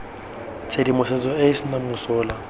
tshedimosetso e e senang mosola